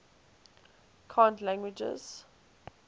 cant languages